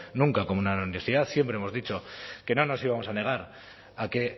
nunca como una universidad siempre hemos dicho que no nos íbamos a negar a que